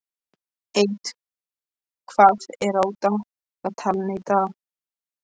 Edith, hvað er á dagatalinu í dag?